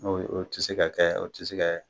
O o tɛ se ka kɛ o tɛ se kɛ.